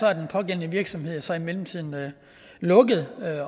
er den pågældende virksomhed så i mellemtiden lukket